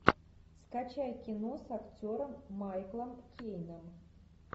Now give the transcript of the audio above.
скачай кино с актером майклом кейном